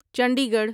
Chandi Garh